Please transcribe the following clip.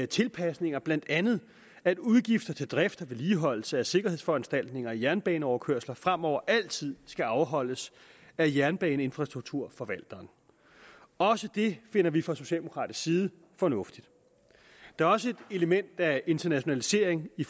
tilpasninger blandt andet at udgifter til drift og vedligeholdelse af sikkerhedsforanstaltninger i jernbaneoverkørsler fremover altid skal afholdes af jernbaneinfrastrukturforvalteren også det finder vi fra socialdemokratisk side fornuftigt der er også et element af internationalisering i